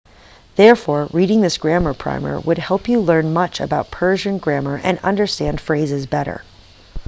therefore reading this grammar primer would help you learn much about persian grammar and understand phrases better